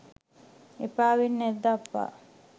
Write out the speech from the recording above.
එපා වෙන්නැද්ද අප්පා